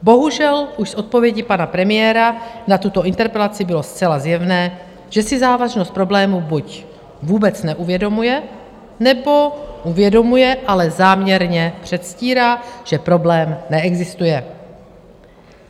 Bohužel už z odpovědi pana premiéra na tuto interpelaci bylo zcela zjevné, že si závažnost problému buď vůbec neuvědomuje, nebo uvědomuje, ale záměrně předstírá, že problém neexistuje.